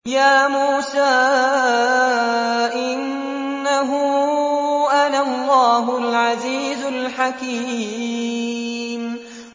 يَا مُوسَىٰ إِنَّهُ أَنَا اللَّهُ الْعَزِيزُ الْحَكِيمُ